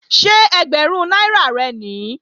Ṣé ẹgbẹ̀rún náírà rẹ̀ nìí?